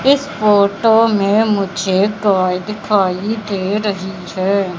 इस फोटो में मुझे गाय दिखाई दे रही है।